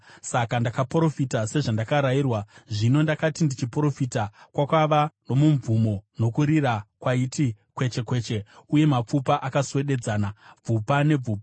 Saka ndakaprofita sezvandakarayirwa. Zvino ndakati ndichiprofita, kwakava nomumvumo, nokurira kwaiti kweche kweche, uye mapfupa akaswededzana, bvupa nebvupa.